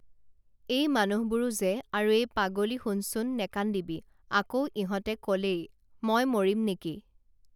এই মানুহবোৰো যে আৰু এই পাগলী শুনচোন নেকান্দিবি আকৌ ইহঁতে কলেই মই মৰিম নেকি